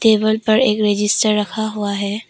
Table पर एक register रखा हुआ है।